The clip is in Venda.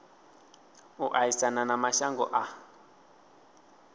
u aisana na mashango a